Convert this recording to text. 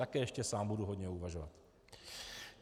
Také ještě sám budu hodně uvažovat.